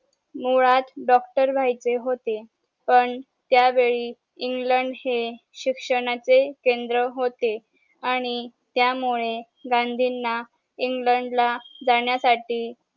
मुळात डॉक्टर व्हायचे होते पण त्या वेळी इंग्लंड चे शिक्षणाचे केंद्र होते आणि त्या मुले गांधींना इंग्लंड जाण्यासाठी